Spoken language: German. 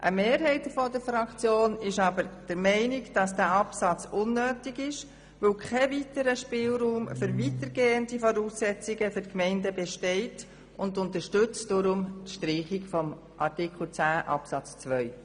Eine Mehrheit der Fraktion ist aber der Meinung, dass dieser Absatz unnötig ist, weil kein Spielraum für weitergehende Voraussetzungen für die Gemeinden besteht und unterstützt darum die Streichung von Artikel 10 Absatz 2.